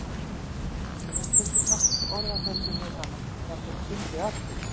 Ég hef stundum haft orð á þessu við hana, jafnvel fundið að því.